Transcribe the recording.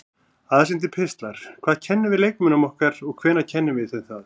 Aðsendir pistlar Hvað kennum við leikmönnunum okkar og hvenær kennum við þeim það?